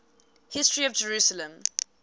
history of jerusalem